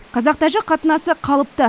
қазақ тәжік қатынасы қалыпты